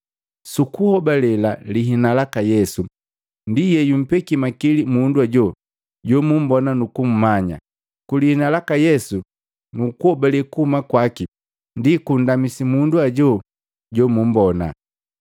Sukuhobale lihina laka Yesu ndi yeyumpeki makili mundu hajo jomumbona nuku mmanya. Kulihina laka Yesu nukuhobale kokuhuma kwaki ndi kokundamisi mundu ajo jomumbona.”